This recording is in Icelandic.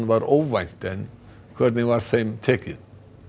var óvænt en hvernig var þeim tekið